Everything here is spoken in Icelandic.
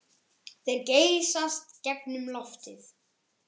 Þeir geysast gegnum loftið.